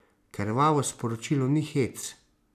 Krvavo sporočilo ni hec.